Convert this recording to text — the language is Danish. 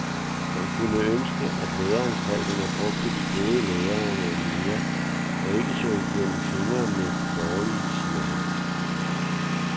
Man kunne ønske, at læreanstalterne brugte de gode lærere noget mere og ikke så igennem fingre med de dårlige, siger han.